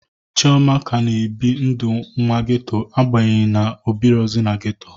Chioma ka na ebi ndụ nwa geto abanyeghi na o birozu n'geto